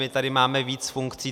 My tady máme víc funkcí...